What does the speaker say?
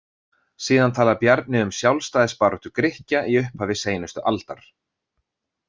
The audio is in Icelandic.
Síðan talar Bjarni um sjálfstæðisbaráttu Grikkja í upphafi seinustu aldar.